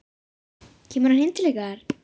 Kemur hann heim til ykkar?